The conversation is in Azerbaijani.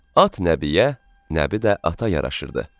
At Nəbiyə, Nəbi də ata yaraşırdı.